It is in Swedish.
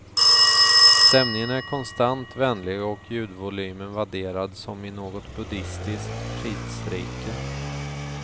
Stämningen är konstant vänlig och ljudvolymen vadderad som i något buddhistiskt fridsrike.